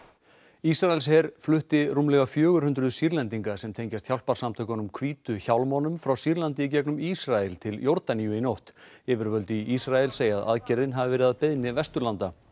Ísraelsher flutti rúmlega fjögur hundruð Sýrlendinga sem tengjast hjálparsamtökunum hvítu hjálmunum frá Sýrlandi í gegnum Ísrael til Jórdaníu í nótt yfirvöld í Ísrael segja að aðgerðin hafi verið að beiðni Vesturlanda